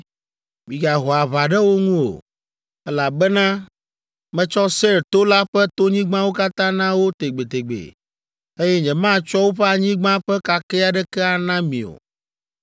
Migaho aʋa ɖe wo ŋu o, elabena metsɔ Seir to la ƒe tonyigbawo katã na wo tegbetegbe, eye nyematsɔ woƒe anyigba ƒe kakɛ aɖeke ana mi o.